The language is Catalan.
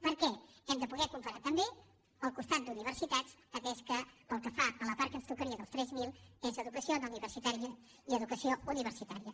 perquè hem de poder comparar també el costat d’universitats atès que pel que fa a la part que ens tocaria dels tres mil és educació no universitària i educació universitària